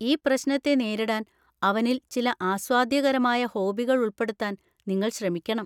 ഈ പ്രശ്‌നത്തെ നേരിടാൻ അവനിൽ ചില ആസ്വാദ്യകരമായ ഹോബികൾ ഉൾപ്പെടുത്താൻ നിങ്ങൾ ശ്രമിക്കണം.